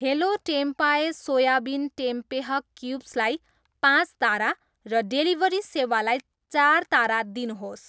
hello टेम्पाए soybean tempeh cubes लाई पाँच तारा र डेलिभरी सेवालाई चार तारा दिनुहोस्